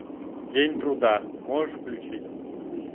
день труда можешь включить